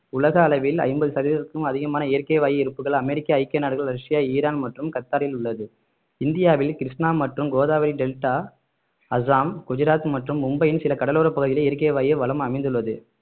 உலக அளவில் ஐம்பது சதவீதத்திற்கும் அதிகமான இயற்கை வாயு இருப்புகள் அமெரிக்க ஐக்கிய நாடுகள் ரஷ்யா ஈரான் மற்றும் கத்தாரில் உள்ளது இந்தியாவில் கிருஷ்ணா மற்றும் கோதாவரி டெல்டா அஸ்ஸாம் குஜராத் மற்றும் மும்பையின் சில கடலோரப் பகுதிகளில் இயற்கை வாயு வளம் அமைந்துள்ளது